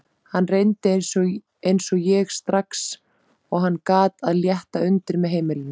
Hann reyndi eins og ég, strax og hann gat, að létta undir með heimilinu.